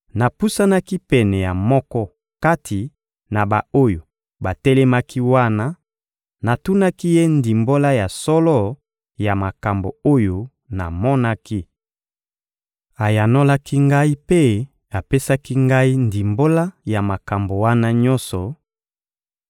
Napusanaki pene ya moko kati na ba-oyo batelemaki wana, natunaki ye ndimbola ya solo ya makambo oyo namonaki. Ayanolaki ngai mpe apesaki ngai ndimbola ya makambo wana nyonso: